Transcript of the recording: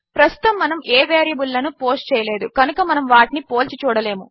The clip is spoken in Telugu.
ప్రస్తుతము మనము ఏ వేరియబుల్ లను పోస్ట్ చేయలేదు కనుక మనము వాటిని పోల్చి చూడలేము